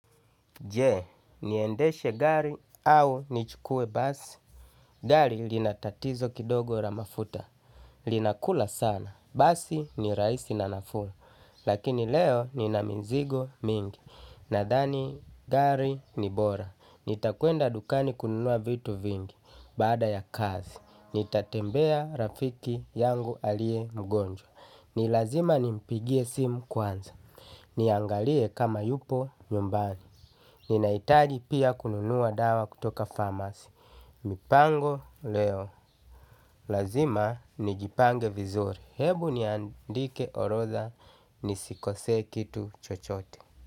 Je, niendeshe gari au nichukue basi? Gari lina tatizo kidogo la mafuta. Linakula sana. Basi ni rahisi na nafuu. Lakini leo nina mizigo mingi. Nadhani gari ni bora. Nitakuenda dukani kununua vitu vingi. Baada ya kazi. Nitatembea rafiki yangu aliye mgonjwa. Ni lazima nimpigie simu kwanza. Niangalie kama yupo nyumbani. Ninahitaji pia kununua dawa kutoka pharmacy. Mipango leo. Lazima nijipange vizuri. Hebu niandike orotha nisikosee kitu chochote.